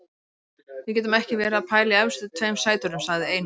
Við getum ekki verið að pæla í efstu tveim sætunum, sagði Einar.